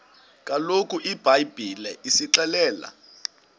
kaloku ibhayibhile isixelela